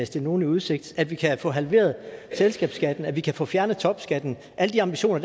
stille nogen i udsigt at vi kan få halveret selskabsskatten at vi kan få fjernet topskatten alle de ambitioner